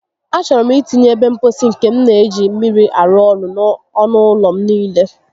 A chọrọ m itinye ebe mposi nke n'eji mmiri arụ ọrụ n'ọnụ ụlọ m niile